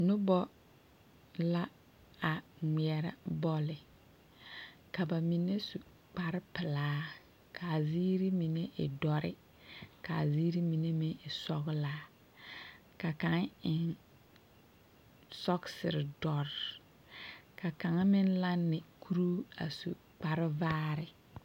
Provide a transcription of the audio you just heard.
Nobɔ la, a ŋmeɛrɛ bɔlle. Ka ba mine su kparepelaa, kaa ziiri mine e dɔre kaa ziiri mine meŋ e sɔgelaa. Ka kaŋ eŋ sɔgesere-dɔre, ka kaŋa meŋ lanne kuruu a su kparevaare.